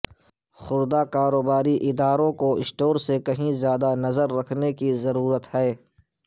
خوردہ کاروباری اداروں کو اسٹور سے کہیں زیادہ نظر رکھنے کی ضرورت ہے